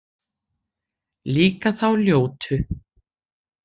Líka þá ljótu